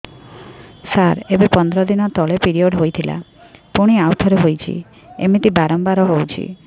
ସାର ଏବେ ପନ୍ଦର ଦିନ ତଳେ ପିରିଅଡ଼ ହୋଇଥିଲା ପୁଣି ଆଉଥରେ ହୋଇଛି ଏମିତି ବାରମ୍ବାର ହଉଛି